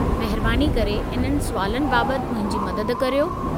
महिरबानी करे इन्हनि सुवालनि बाबतु मुंहिंजी मदद करियो।